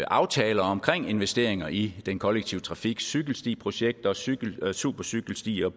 aftaler omkring investeringer i den kollektive trafik som cykelstiprojekter supercykelstier